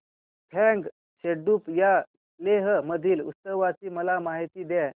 फ्यांग सेडुप या लेह मधील उत्सवाची मला माहिती द्या